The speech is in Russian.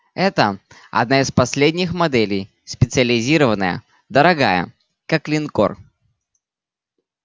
это одна из последних моделей специализированная дорогая как линкор